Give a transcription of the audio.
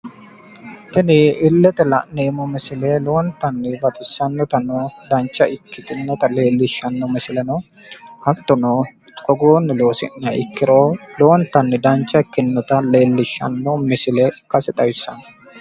Tini illete la'neemmo misile lowontanni baxissanotano dancha ikkitinota leellishshanno misile no. hattono togoonni loosi'niha ikkiro lowonttanni dancha ikkinota leellishshanno misile ikkase xawissanno.